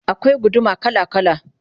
akwai guduma kala kala